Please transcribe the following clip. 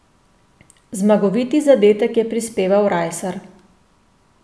Zmagoviti zadetek je prispeval Rajsar.